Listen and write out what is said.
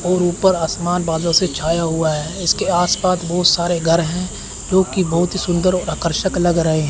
और ऊपर आसमान बादल से छाया हुआ है इसके आस पास बहुत सारे घर हैं जोकि बहुत ही सुंदर और आकर्षक लग रहे हैं।